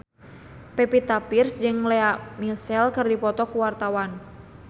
Pevita Pearce jeung Lea Michele keur dipoto ku wartawan